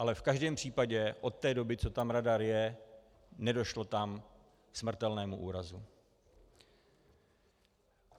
Ale v každém případě od té doby, co tam radar je, nedošlo tam k smrtelnému úrazu.